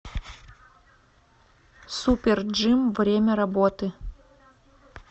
супер джим время работы